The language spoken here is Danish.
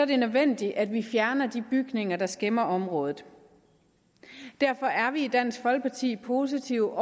det nødvendigt at vi fjerner de bygninger der skæmmer området derfor er vi i dansk folkeparti positive